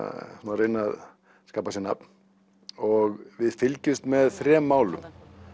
reyna að skapa sér nafn og við fylgjumst með þremur málum